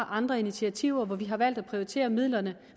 andre initiativer og vi har valgt at prioritere midlerne